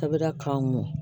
Sɛbɛ k'an mɔ